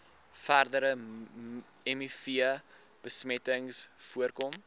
verdere mivbesmetting voorkom